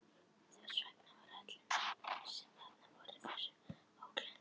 Þess vegna var öllum, sem þarna voru, þessi atburður svo ógleymanlegur.